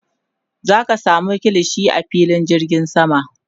zaka samu kilishi a filin jirgin sama